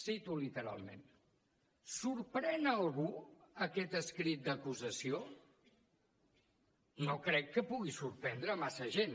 cito literalment sorprèn a algú aquest escrit d’acusació no crec que pugui sorprendre massa gent